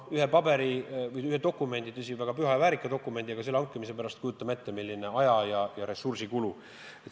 Ühe dokumendi – tõsi, väga püha ja väärika dokumendi – hankimise pärast, kujutame ette, milline aja- ja ressursikulu.